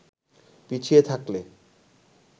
পিছিয়ে থাকলে